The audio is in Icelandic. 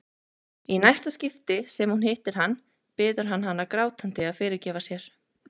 Í næsta skipti sem hún hittir hann biður hann hana grátandi að fyrirgefa sér.